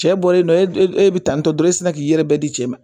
Cɛ bɔlen don e be tan ni tɔɔrɔ e sina k'i yɛrɛ bɛɛ di cɛ ma